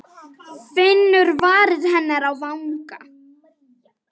Finnur varir hennar á vanga.